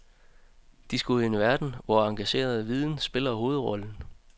De skal ud i en verden, hvor engageret viden spiller hovedrollen.